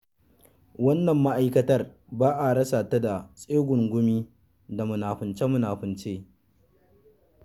Wannan ma'aikatar ba a rasa ta da tsegungumi da munafunce-munafunce.